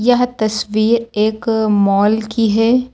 यह तस्वीर एक मॉल की है।